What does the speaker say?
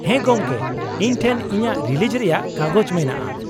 ᱦᱮᱸ ᱜᱚᱢᱠᱮ, ᱤᱧ ᱴᱷᱮᱱ ᱤᱧᱟᱹᱜ ᱨᱤᱞᱤᱡᱽ ᱨᱮᱭᱟᱜ ᱠᱟᱜᱚᱡᱽ ᱢᱮᱱᱟᱜᱼᱟ ᱾